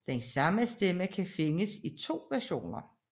Den samme stemme kan findes i to versioner